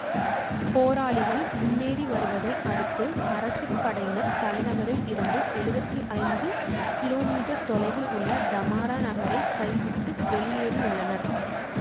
போராளிகள் முன்னேறி வருவதை அடுத்து அரசு படையினர் தலைநகரில் இருந்து எழுவத்தி ஐந்து கிலோமீட்டர் தொலைவில் உள்ள டமாரா நகரை கைவிட்டு வெளியேறியுள்ளனர்